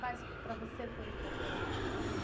Quais para você foram importantes, assim?